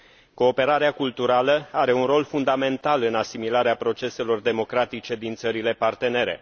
Cooperarea culturală are un rol fundamental în asimilarea proceselor democratice din țările partenere.